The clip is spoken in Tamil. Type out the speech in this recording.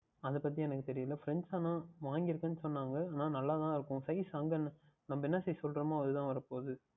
அது பற்றி எனக்கு தெரியவில்லை ஆனால் Friends வாங்கி இருக்கிறார்கள் என்று சொன்னார்கள் ஆனால் நன்றாக தான் இருக்கும் Size யில் என்ன நாம் என்ன சொல்லுகின்றோமோ அது தான் வரப்போகின்றது